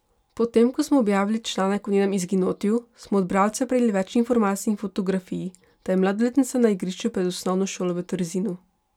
Potem ko smo objavili članek o njenem izginotju, smo od bralcev prejeli več informacij in fotografij, da je mladoletnica na igrišču pred osnovno šolo v Trzinu.